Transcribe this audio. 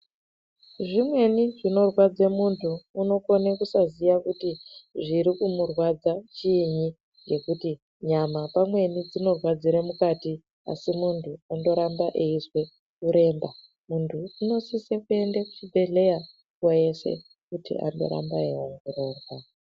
Zvimweni zvinorwadza muntu unokona kusaziva kuti zviri kumurwadza chinyi ngekuti nyama pamweni dzinorwadzira mukati asi Antu anoramba eizwa kuremba muntu unosisa kuenda kuzvibhedhlera nguwa yese andoramba eiongororwa.